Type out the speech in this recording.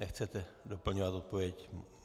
Nechcete doplňovat odpověď?